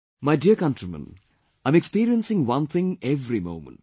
My dear countrymen, I am experiencing one thing every moment